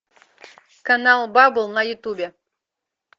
канал бабл на ютубе